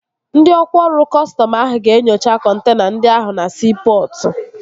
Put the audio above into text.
Ndị ọkwá ọrụ kọstọm ahụ ga-enyocha kọntena ndị ahụ na siipọtụ